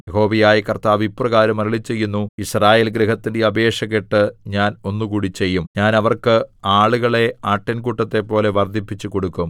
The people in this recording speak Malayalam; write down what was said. യഹോവയായ കർത്താവ് ഇപ്രകാരം അരുളിച്ചെയ്യുന്നു യിസ്രായേൽ ഗൃഹത്തിന്റെ അപേക്ഷ കേട്ട് ഞാൻ ഒന്നുകൂടി ചെയ്യും ഞാൻ അവർക്ക് ആളുകളെ ആട്ടിൻകൂട്ടത്തെപ്പോലെ വർദ്ധിപ്പിച്ചുകൊടുക്കും